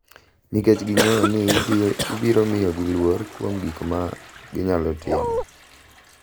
Nikech ging’eyo ni ibiro miyogi luor kuom gik ma ginyalo timo.